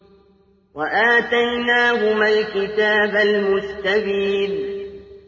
وَآتَيْنَاهُمَا الْكِتَابَ الْمُسْتَبِينَ